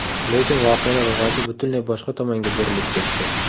Lekin voqealar rivoji butunlay boshqa tomonga burilib ketdi.